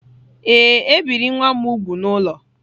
Ee, e biri nwa m úgwù n’ụlọ